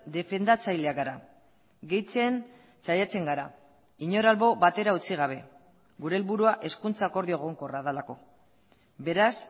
defendatzaileak gara gehitzen saiatzen gara inor albo batera utzi gabe gure helburua hezkuntza akordio egonkorra delako beraz